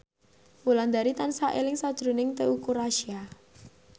Wulandari tansah eling sakjroning Teuku Rassya